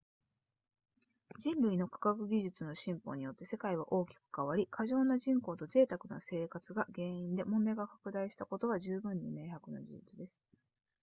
人類の科学技術の進歩によって世界は大きく変わり過剰な人口と贅沢な生活が原因で問題が拡大したことは十分に明白な事実です